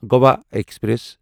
Goa express